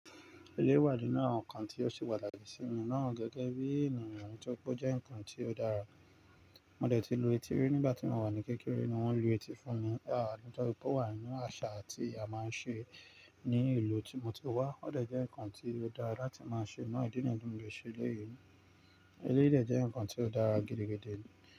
Eléyi wa nínú àwọn nkan tí ó sì wà láti ìsìnyí náà gẹ́gẹ́ bí ènìyàn tó pé ó jẹ́ ǹkan tí ó dára. Mo dẹ̀ ti lu etí rí nígbà tí mo wà ní kékeré ni wọ́n lu etí fún mi. À nitoripé ó wà nínú àṣà tí a máa ń ṣe ní ìlú tí mo ti wá. Ó dẹ̀ jẹ́ ǹkan tí ó dára láti máa ṣe, náà ìdí nìyí ni mo dẹ̀ ṣe eléyìí. Eléyìí dẹ̀ jẹ́ ǹkan tí ó dára gidigidi.